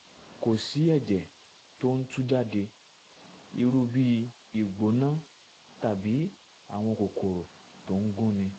kò sí ẹ̀jẹ̀ tó ń tú jáde irú bí ìgbóná tàbí àwọn kòkòrò tó ń gúnni um